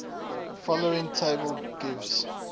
following table gives